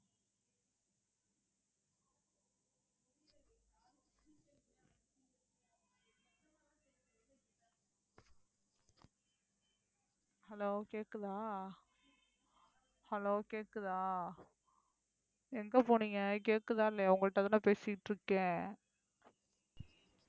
hello கேக்குதா hello கேக்குதா எங்கபோனிங்க கேக்குதா இல்லையா உங்கள்டதான பேசிட்டு இருக்கேன்,